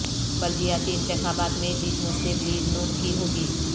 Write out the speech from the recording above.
بلدیاتی انتخابات میں جیت مسلم لیگ ن کی ہو گی